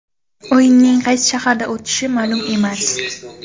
O‘yinning qaysi shaharda o‘tishi ma’lum emas.